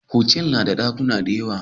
Hotel nada dakuna dayawa